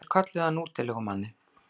Sumir kölluðu hann útilegumanninn.